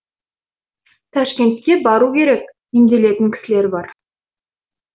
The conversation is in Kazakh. ташкентке бару керек емделетін кісілер бар